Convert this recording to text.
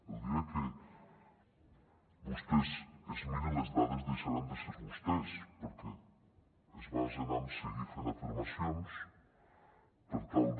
el dia que vostès es mirin les dades deixaran de ser vostès perquè es basen en seguir fent afirmacions per tal de